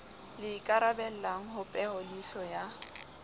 le ikarabellang ho peholeihlo ya